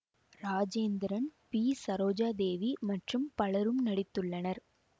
Rajendran B Sarojadevi மற்றும் பலரும் நடித்துள்ளனர்